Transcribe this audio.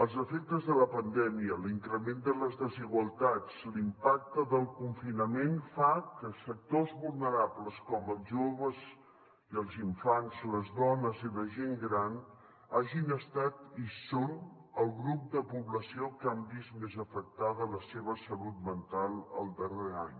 els efectes de la pandèmia l’increment de les desigualtats l’impacte del confinament fan que sectors vulnerables com els joves i els infants les dones i la gent gran hagin estat i siguin el grup de població que han vist més afectada la seva salut mental el darrer any